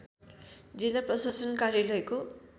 जिल्ला प्रशासन कार्यालयको